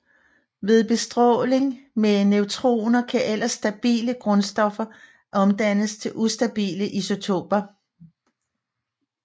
Ved bestråling med neutroner kan ellers stabile grundstoffer omdannes til ustabile isotoper